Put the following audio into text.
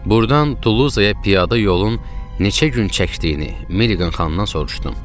Burdan Tuluza piyada yolun neçə gün çəkdiyini Milliqan xanımdan soruşdum.